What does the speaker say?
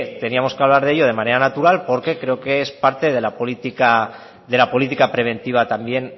teníamos que hablar de ello de manera natural porque creo que es parte de la política preventiva también